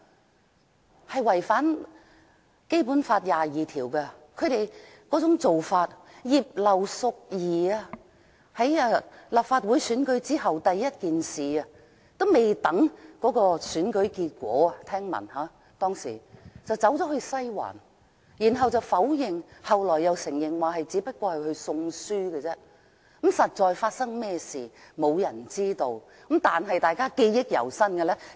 他們的做法違反《基本法》第二十二條，例如，據聞葉劉淑儀議員在立法會選舉還未有結果的時候，已經去了"西環"，她初時否認，後來承認只是去送書，但實際上發生甚麼事，並沒有人知道。